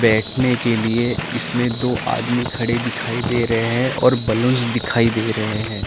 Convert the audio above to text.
बैठने के लिए इसमें दो आदमी खड़े दिखाई दे रहे है और बैलून्स दिखाई दे रहे है ।